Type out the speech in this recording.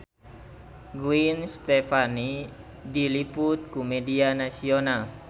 Gwen Stefani diliput ku media nasional